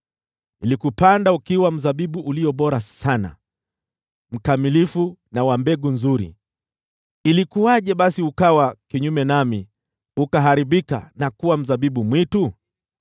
Nilikupanda ukiwa mzabibu ulio bora sana, mkamilifu na wa mbegu nzuri. Ilikuwaje basi ukawa kinyume nami, ukaharibika na kuwa mzabibu mwitu?